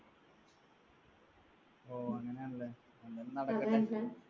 ഓ അങ്ങനെയാണല്ലേ എന്തായാലും നടക്കട്ടെ